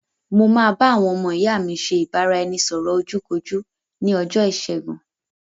Mo máa bá àwọn ọmọ ìyá mi ṣe ìbáraẹnisọ̀rọ̀ ojú kojú ní ọjọ́ ìṣẹ́gun